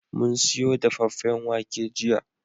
Mun siyo dafaffen wake jiya